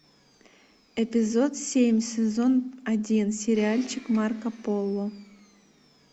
эпизод семь сезон один сериальчик марко поло